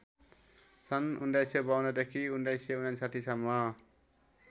सन् १९५२ देखि १९५९ सम्म